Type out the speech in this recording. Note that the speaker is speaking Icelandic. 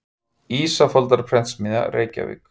Ísafoldarprentsmiðja, Reykjavík.